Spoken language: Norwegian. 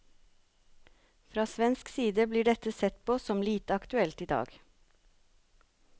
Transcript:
Fra svensk side blir dette sett på som lite aktuelt i dag.